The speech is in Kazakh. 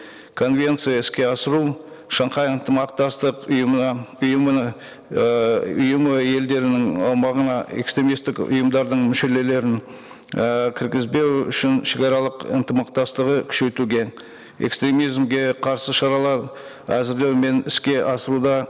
конвенция іске асыру шанхай ынтымақтастық ұйымына ұйымына ыыы ұйымы елдерінің аумағына экстремисттік ұйымдардың ііі кіргізбеу шегаралық ынтымақтастығы күшейтуге экстремизмге қарсы шаралар әзірлеу мен іске асыруда